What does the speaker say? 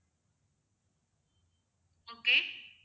okay